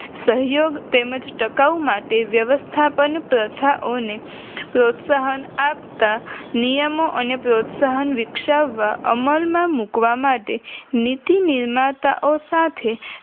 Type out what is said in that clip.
સહયોગ તેમજ ટકાઉ માટે વ્યવસ્થાપન પ્રથાઓને પ્રોત્સાહન આપતા નિયમો અને પ્રોત્સાહન વિકસાવવા અમલમાં મૂકવા માટે નીતિ નિર્માતા ઓ સાથે